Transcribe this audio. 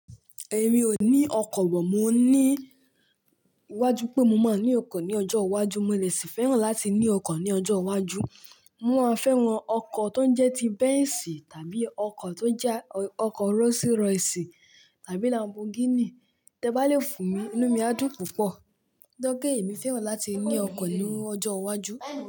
Èmi ò ní ọkọ̀ bọ̀, mo ní iwájú pé mo máa ní ọkọ̀ ní ọjọ́ iwájú. Mo le si fẹ́ràn láti ní ọkọ̀ ní ọjọ́ iwájú. Mo máa fẹ́ran ọkọ̀ tó ń jẹ́ ti Benz tàbí ọkọ̀ tó jẹ́ ọkọ̀ Rolls Royce tàbí Lamborghini. Tẹ bá lè fún mi, inú mi á dùn púpọ̀. To jẹ pe èmi fẹ́ràn láti ní ọkọ̀ ní ọjọ́ iwájú.